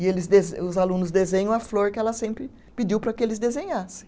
E eles dese, os alunos desenham a flor que ela sempre pediu para que eles desenhassem.